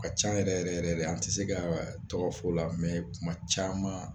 Ka can yɛrɛ yɛrɛ yɛrɛ de, an ti se ka wa tɔgɔ f'u la kuma caman